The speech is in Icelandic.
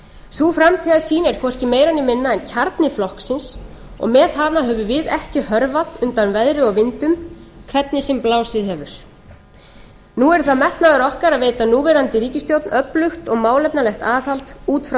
sú framtíðarsýn er hvorki meira né minna en kjarni flokksins og með hana höfum við ekki hörfað undan veðri og vindum hvernig sem blásið hefur nú er það metnaður okkar að veita núverandi ríkisstjórn öflugt og málefnalegt aðhald út frá